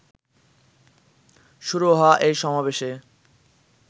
শুরু হওয়া এই সমাবেশে